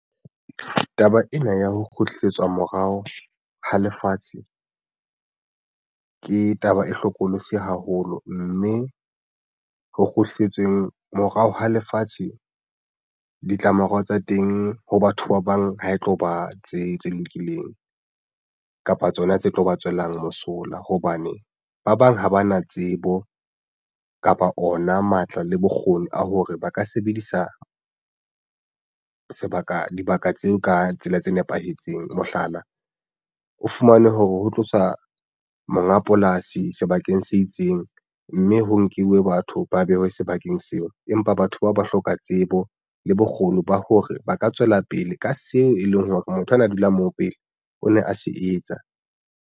Taba ena ya ho kgutlisetswa morao ha lefatshe ke taba e hlokolosi haholo, mme ho kgutletsweng morao ha lefatshe ditlamorao tsa teng ho batho ba bang ha e tlo ba tse lokileng kapa tsona tse tlo ba tswelang mosola hobane ba bang ha ba na tsebo kapa ona matla le bokgoni a hore ba ka sebedisa sebaka dibaka tseo ka tsela tse nepahetseng. Mohlala, o fumane hore ho tloswa monga polasi sebakeng se itseng mme ho nkiwe batho ba behwe sebakeng seo. Empa batho bao ba hloka tsebo le bokgoni ba hore ba ka tswela pele ka seo e leng hore motho a na dula moo. Pele o ne a se etsa.